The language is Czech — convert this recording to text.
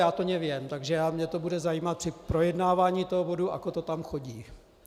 Já to neviem, takže mě to bude zajímat při projednávání toho bodu, ako to tam chodí!